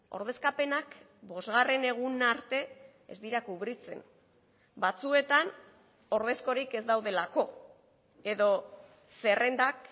ordezkapenak bosgarren eguna arte ez dira kubritzen batzuetan ordezkorik ez daudelako edo zerrendak